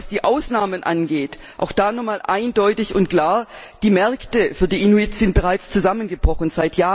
Was die Ausnahmen angeht, auch da noch einmal eindeutig und klar Die Märkte für die Inuits sind bereits seit Jahren zusammengebrochen.